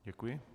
Děkuji.